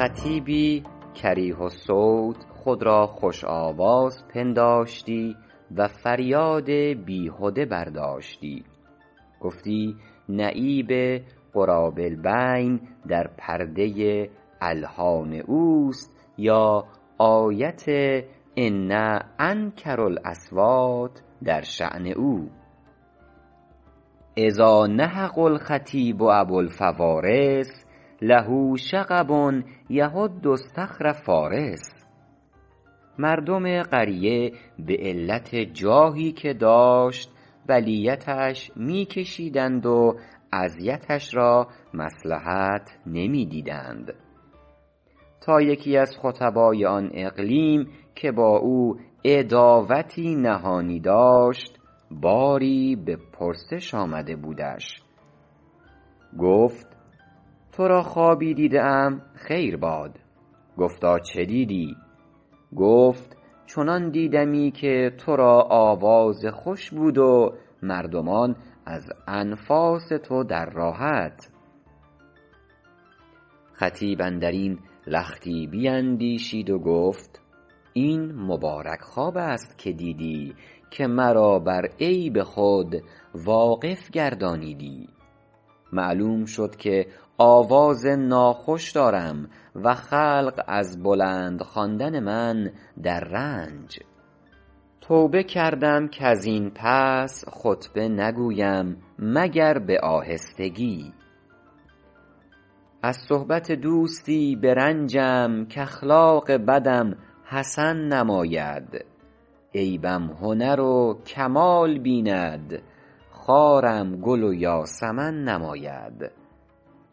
خطیبی کریه الصوت خود را خوش آواز پنداشتی و فریاد بیهده برداشتی گفتی نعیب غراب البین در پرده الحان اوست یا آیت ان انکر الاصوات در شأن او اذا نهق الخطیب ابوالفوارس له شغب یهد اصطخر فٰارس مردم قریه به علت جاهی که داشت بلیتش می کشیدند و اذیتش را مصلحت نمی دیدند تا یکی از خطبای آن اقلیم که با او عداوتی نهانی داشت باری به پرسش آمده بودش گفت تو را خوابی دیده ام خیر باد گفتا چه دیدی گفت چنان دیدمی که تو را آواز خوش بود و مردمان از انفاس تو در راحت خطیب اندر این لختی بیندیشید و گفت این مبارک خواب است که دیدی که مرا بر عیب خود واقف گردانیدی معلوم شد که آواز ناخوش دارم و خلق از بلند خواندن من در رنج توبه کردم کز این پس خطبه نگویم مگر به آهستگی از صحبت دوستی برنجم کاخلاق بدم حسن نماید عیبم هنر و کمال بیند خارم گل و یاسمن نماید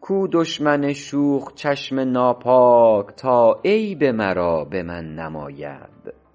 کو دشمن شوخ چشم ناپاک تا عیب مرا به من نماید